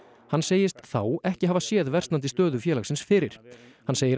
hann segist þá ekki hafa séð versnandi stöðu félagins fyrir hann segir